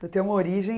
uma origem...